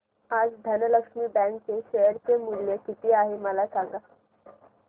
आज धनलक्ष्मी बँक चे शेअर चे मूल्य किती आहे मला सांगा